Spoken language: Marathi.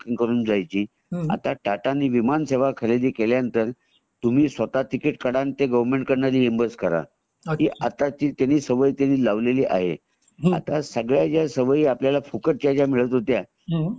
करून जायची आता टाटा ने विमान सेवा खरेदी स्वतः जेव्हा खरेदी केल्यावर तुम्ही स्वतः टिकिट काढा आणि ते गोवेरमेन्ट कडून ते रेमबर्स करा आता ती सवय त्यांना लावलेली आहे आता सगळ्या ज्या सवयी ज्या आपल्याला फुकट च्या ज्या मिळत होत्या